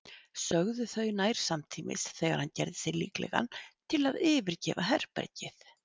sögðu þau nær samtímis þegar hann gerði sig líklegan til að yfirgefa herbergið.